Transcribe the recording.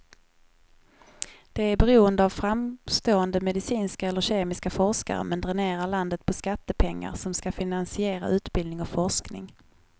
Det är beroende av framstående medicinska eller kemiska forskare, men dränerar landet på skattepengar som ska finansiera utbildning och forskning.